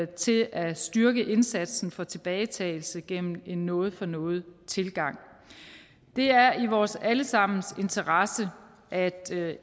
til at styrke indsatsen for tilbagetagelse gennem en noget for noget tilgang det er i vores alle sammens interesse at